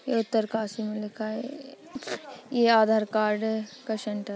ये उत्तरकाशी मे लिखा है ए-ए ये आधार-कार्ड का सेन्टर --